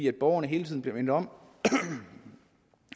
at borgerne hele tiden bliver mindet om